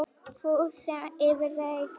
Þú sem yfirgafst mig.